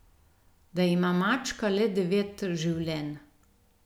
Da ima mačka le devet življenj.